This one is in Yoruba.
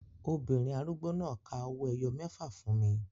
Obìnrin arúgbó náà ka owó ẹyọ mẹ́fà fún mi